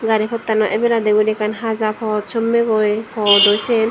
gari potano abeladi ebot ekkan haja pot sommigoi hudu cian.